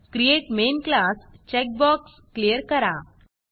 create main class create main class checkbox clear करा